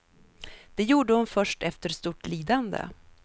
Det gjorde hon först efter stort lidande.